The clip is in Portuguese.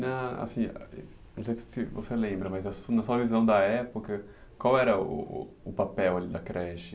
Ãh, assim, não sei se você lembra, mas na sua visão da época, qual era o papel da creche?